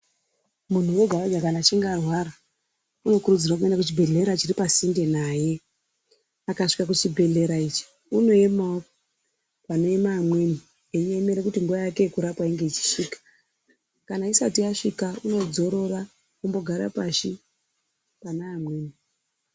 Munhu wega-wega kana achinge arwara unokurudzirwe kuenda kuchibhedhlera chiripasinde naye. Akasvika kuzvibhedhlera ichi unoemawo panoema amweni eiemere kuti nguwa yake yekurapwa inge ichisvika. Kana isati yasvika unodzorora ombogara pashi pane amweni.